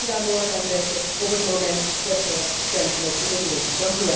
Ik hoop dat ze daar morgen aan denken op het moment dat ze dat stemknopje indrukken.